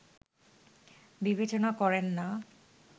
বিবেচনা করেন না